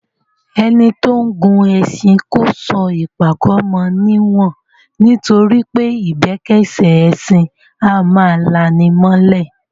Ẹni tó ń gun ẹṣin kó sọ ìpàkọ́ mọ níwọ̀n, nitoripe ìbẹ́kẹ́sẹ́ ẹṣin a máa lani mọ́lẹ̀.